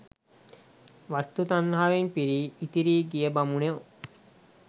වස්තූ තණ්හාවෙන් පිරී ඉතිරී ගිය බමුණෝ